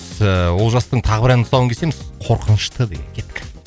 ыыы олжастың тағы бір әнінің тұсауын кесеміз қорқынышты деген кеттік